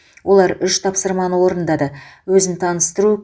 олар үш тапсырманы орындады өзін таныстыру